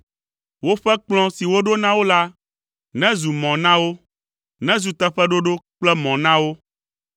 Woƒe kplɔ̃ si woɖo na wo la nezu mɔ na wo; nezu teƒeɖoɖo kple mɔ na wo.